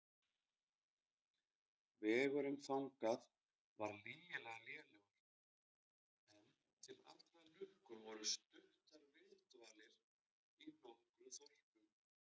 Vegurinn þangað var lygilega lélegur, en til allrar lukku voru stuttar viðdvalir í nokkrum þorpum.